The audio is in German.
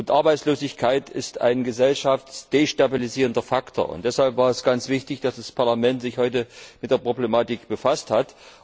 Arbeitslosigkeit ist ein gesellschaftsdestabilisierender Faktor, und deshalb war es ganz wichtig, dass das Parlament sich heute mit der Problematik befasst hat.